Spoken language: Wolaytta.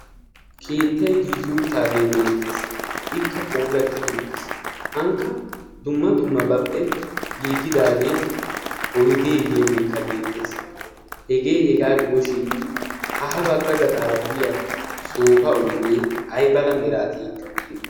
keettai giigiyuuttaagee beettees ikka poolattidi uttiis aanikka dumma dummabappe giigidaagee oideediyaageekka beettees hegee hegaa gidoshin ha ha bagga gaxaara biya soofa oidee ai bala miraatiyiitti uttidi?